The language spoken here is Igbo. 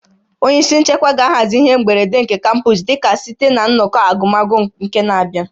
Onye isi nchekwa ga-ahazi ihe mberede nke kampọs dịka site na nnọkọ agụmakwụkwọ nke n'abịa